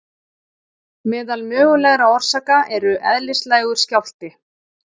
Meðal mögulegra orsaka eru Eðlislægur skjálfti.